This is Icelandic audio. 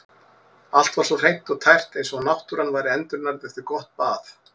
Allt var svo hreint og tært eins og náttúran væri endurnærð eftir gott bað.